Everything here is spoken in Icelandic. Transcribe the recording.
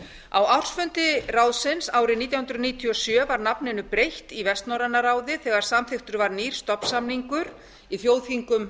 á ársfundi ráðsins árið nítján hundruð níutíu og sjö var nafninu breytt í vestnorræna ráðið þegar samþykktur var nýr stofnsamningur í þjóðþingum